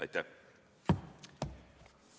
Aitäh!